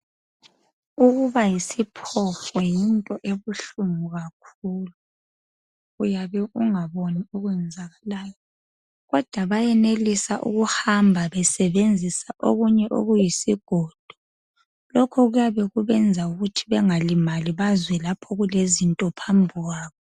Ukuba yisiphofu yinto ebuhlungu kakhulu uyabe ungaboni okwenzakalayo kodwa bayenelisa ukuhamba besebenzisa okunye okuyisigodo lokhu kuyabe kubenza ukuthi bengalimali bazwe lapho okulezinto phambi kwabo.